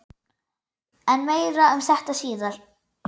En meira um þetta síðar.